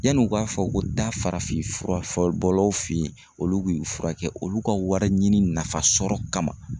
Yanni u k'a fɔ ko da farafinfura bɔlaw fɛ yen olu y'i furakɛ olu ka wariɲini nafa sɔrɔ kama.